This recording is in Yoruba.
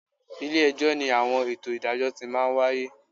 Ilé-ẹjọ́ ni àwọn ètò ìdájọ́ ti máa ń wáyé